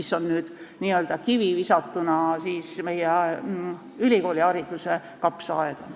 See kivi tuleb visata meie ülikoolihariduse kapsaaeda.